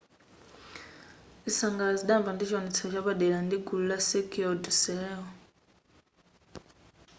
zisangalalo zidayamba ndi chiwonetsero chapadera ndi gulu la cirquel du soleil